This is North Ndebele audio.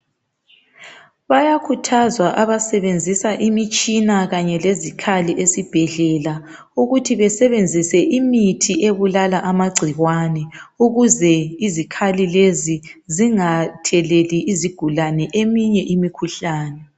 Bayakhuthazwa abasebenzisa imitshina kanye lezikhali esibhedlela ukuthi besebenzise imithi ebulala amagcikwane ukuze izikhali lezi zingatheleli izigulane eminye imikhuhlane.